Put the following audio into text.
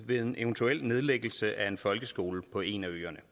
ved en eventuel nedlæggelse af en folkeskole på en af øerne